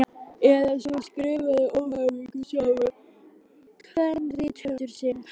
Eða svo skrifaði óhamingjusamur kvenrithöfundur sem Haraldur